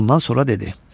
Ondan sonra dedi: